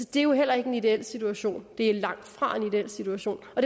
det er jo heller ikke en ideel situation det er langtfra en ideel situation og